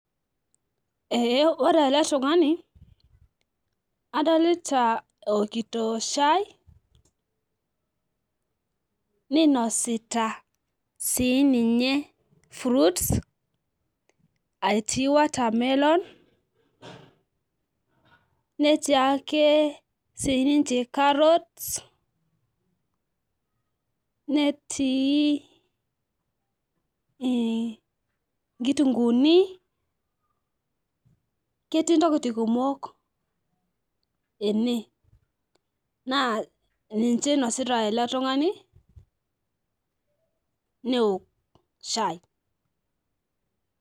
Ee ore eletungani adolta eokito shai ninosita si ninye fruits aitii [csMwatermelon netii ake carrots netii i nkitunguuni ketii ntokitin kumok ene na ninche inosita eletungani neok shai.